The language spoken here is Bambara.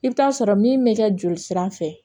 I bɛ taa sɔrɔ min bɛ kɛ joli sira fɛ